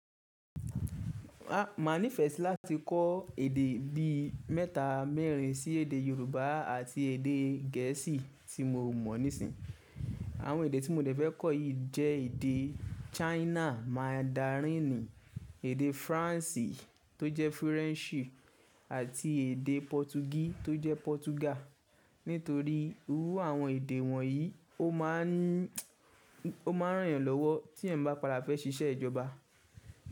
A mà nífẹ̀ẹ́ sí láti kọ́ èdè bí i mẹ́ta mẹ́rin sí èdè Yorùbá àti èdè Gẹ̀ẹ́sì tí mo mọ̀ nísìnyí. Àwọn èdè tí mo dẹ̀ fẹ́ kọ́ yìí jẹ́ èdè China Mandarin, èdè Faransé tó jẹ́ French àti èdè Pọtugí tó jẹ́ Portugal. Nítorí iru àwọn èdè wọ̀nyí ó ma ń, ó ma ń ràn èèyàn lọ́wọ́ tí èèyàn bá pada fẹ́ ṣiṣẹ́ ìjọba.